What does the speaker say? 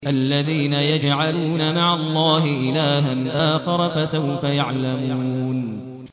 الَّذِينَ يَجْعَلُونَ مَعَ اللَّهِ إِلَٰهًا آخَرَ ۚ فَسَوْفَ يَعْلَمُونَ